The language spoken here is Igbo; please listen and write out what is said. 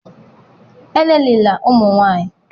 elelịla ụmụ nwanyị!